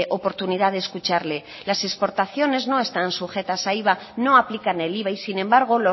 oportunidad de escucharle las exportaciones no están sujetas a iva no aplican el iva y sin embargo